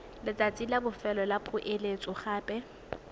letsatsi la bofelo la poeletsogape